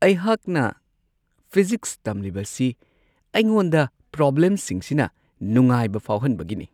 ꯑꯩꯍꯥꯛꯅ ꯐꯤꯖꯤꯛꯁ ꯇꯝꯂꯤꯕꯁꯤ ꯑꯩꯉꯣꯟꯗ ꯄ꯭ꯔꯣꯕ꯭ꯂꯦꯝꯁꯤꯡꯁꯤꯅ ꯅꯨꯡꯉꯥꯏꯕ ꯐꯥꯎꯍꯟꯕꯒꯤꯅꯤ ꯫